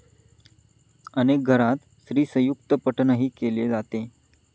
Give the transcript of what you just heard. अनेक घरांत श्रीसयुक्तपठणही केले जाते.